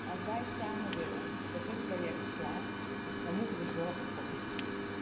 Als wij samen willen dat dit project slaagt, dan moeten we zorgen voor publiek.